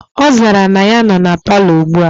Ozara ya na noo na parlour ugbua.